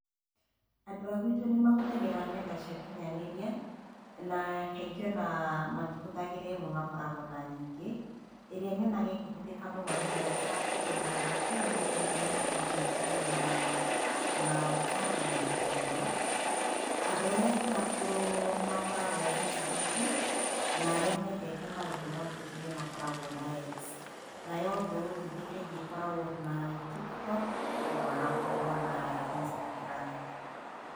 Andũ a gwitũ nĩ mahũthagĩra nenda cia ũkinyanĩria, na kaingĩ o na matihũthagĩra ĩmwe makoragwo na nyingĩ. Irĩa nyonaga ĩkĩhũthĩka mũno nĩ Whatsapp tondũ hakuhĩ o mũndũ wothe wĩna thimũ ĩngíĩkorwo na, na whatsapp nĩ ahũthagĩra. Andũ arĩa akũrakũrũ nĩ makoragwo Facebook, na arĩa mendete maũndũ ma ũteti nĩ makoragwo na X. Nayo mbeũ njĩthĩ kaingĩ ĩkoragwo na Tiktok, na magakorwo na Instagram.